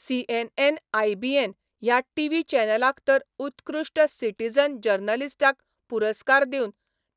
CNN IBN ह्या TV चॅनलान तर उत्कृश्ठ सिटिझन जर्नलिस्टाक पुरस्कार दिवन